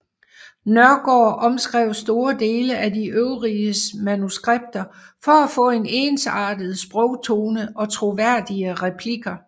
Nørgaard omskrev store dele af de øvriges manuskripter for at få en ensartet sprogtone og troværdige replikker